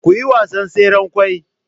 kuyi wasan tseren kwai